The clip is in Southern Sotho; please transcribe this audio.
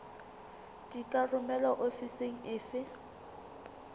di ka romelwa ofising efe